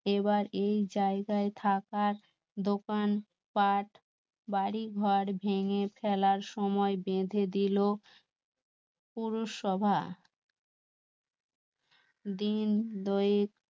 এবার এই জায়গায় থাকার দোকানপাট, বাড়িঘর ভেঙ্গে ফেলার সময় বেঁধে দিল পুরসভা দিন দুয়েক